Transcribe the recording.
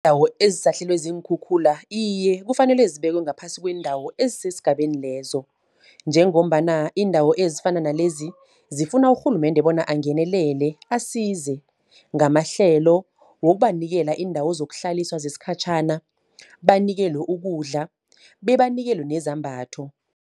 Iindawo ezisahlelwe ziinkhukhula, iye kufanele zibekiwe ngaphasi kweendawo ezisesigabeni lezo. Njengombana iindawo ezifana nalezi, zifuna urhulumende bona angenelele asize, ngamahlelo, ngokubanikela iindawo zokuhlaliswa zesikhatjhana. Banikelwe ukudla, bebanikelwe nezambatho.